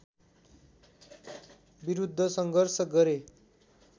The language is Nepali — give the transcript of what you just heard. विरुद्ध सङ्घर्ष गरे